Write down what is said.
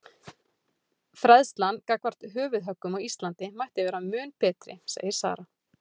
Fræðslan gagnvart höfuðhöggum á Íslandi mætti vera mun betri segir Sara.